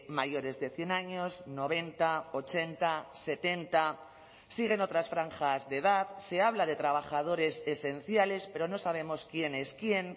mayores de cien años noventa ochenta setenta siguen otras franjas de edad se habla de trabajadores esenciales pero no sabemos quién es quién